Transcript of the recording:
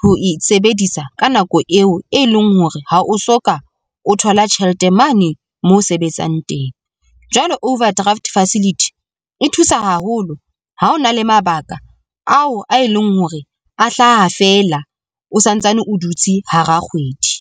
ho e sebedisa ka nako eo e leng hore ha o soka, o thola tjhelete mane moo sebetsang teng. Jwale overdraft facility e thusa haholo ha o na le mabaka ao a e leng hore a hlaha fela o santsane o dutse hara kgwedi.